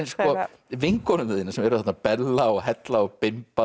vinkonur þínar sem eru þarna Bella og hella og